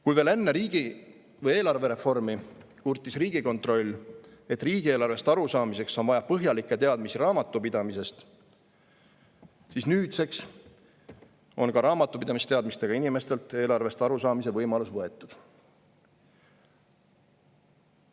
Kui veel enne eelarvereformi kurtis Riigikontroll, et riigieelarvest arusaamiseks on vaja põhjalikke teadmisi raamatupidamisest, siis nüüdseks on ka raamatupidamisteadmistega inimestelt eelarvest arusaamise võimalus võetud.